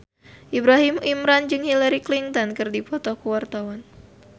Ibrahim Imran jeung Hillary Clinton keur dipoto ku wartawan